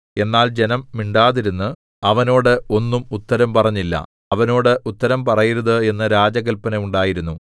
എന്നാൽ ജനം മിണ്ടാതിരുന്ന് അവനോട് ഒന്നും ഉത്തരം പറഞ്ഞില്ല അവനോട് ഉത്തരം പറയരുത് എന്നു രാജകല്പന ഉണ്ടായിരുന്നു